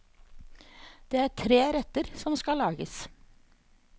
Det er tre retter som skal lages.